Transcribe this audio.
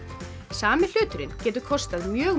sami hlutur getur kostað mjög